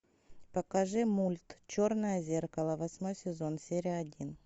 покажи мульт черное зеркало восьмой сезон серия один